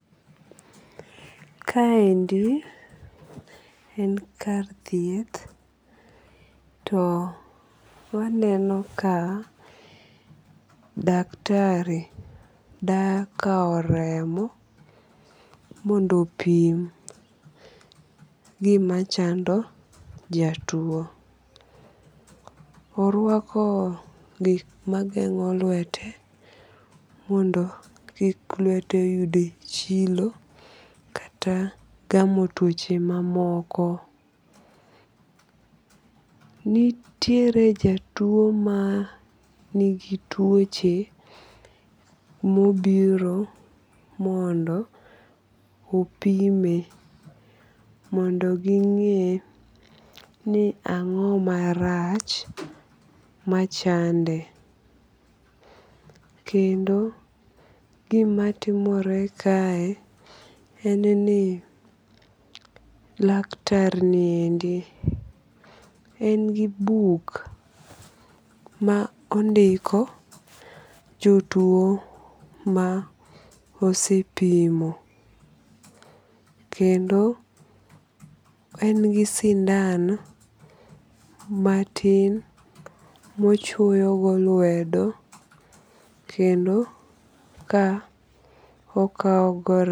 Kaendi en kar thieth to waneno ka daktari dakaw remo mondo opim gima chando jatuo. Orwako gik mageng'o lwete mondo kik lwete yud chilo kata gamo tuoche mamoko. Nitiere jatuo ma nigi tuoche mobiro mondo opime mondo ging\'e ni ang'o marach machande? Kendo gima timore kae en ni laktar niendi en gi buk ma ondiko jotuo ma osepimo. Kendo en gi sindan matin mochwoyo go lwedo kendo ka okaw go.